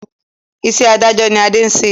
Iṣẹ́ adájọ́ ni Ade ń ṣe